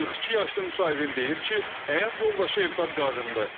42 yaşlı müsahibim deyir ki, həyat yoldaşı evdar qadındır.